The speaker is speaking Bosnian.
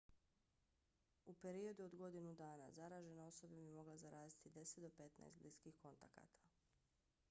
u periodu od godinu dana zaražena osoba bi mogla zaraziti 10 do 15 bliskih kontakata